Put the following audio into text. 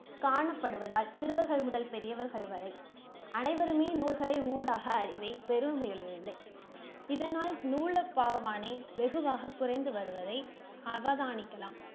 காணப்படுவதால் சிறுவர்கள் முதல் பெரியவர்கள் வரை அனைவருமே நூல்களை ஊடாக அறிவை பெறு இல்லை. இதனால் நூலப்பாவானை வெகுவாக குறைந்து வருவதை அவதானிக்கலாம்.